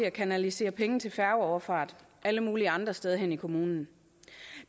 at kanalisere penge til færgefart alle mulige andre steder hen i kommunen